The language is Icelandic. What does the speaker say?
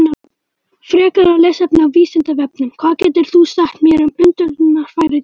Frekara lesefni á Vísindavefnum: Hvað getur þú sagt mér um öndunarfæri dýra?